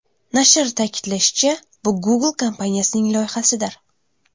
Nashr ta’kidlashicha, bu Google kompaniyasining loyihasidir.